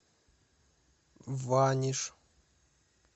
ваниш